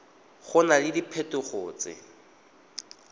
go na le diphetogo tse